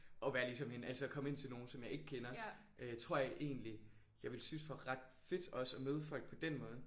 Og være ligesom en altså at komme ind til nogen som jeg ikke kender øh tror jeg egentlig jeg ville synes var ret fedt også at møde folk på den måde